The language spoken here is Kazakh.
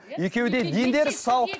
екеуі де дендері сау